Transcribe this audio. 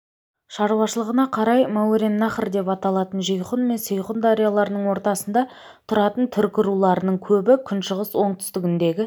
шаруашылығына қарай мауреннахр деп аталатын жейхұн мен сейхұн дарияларының ортасында тұратын түркі руларының көбі күншығыс оңтүстігіндегі